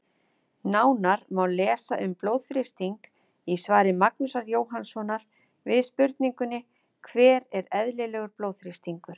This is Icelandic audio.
Nánar má lesa um blóðþrýsting í svari Magnúsar Jóhannssonar við spurningunni: Hver er eðlilegur blóðþrýstingur?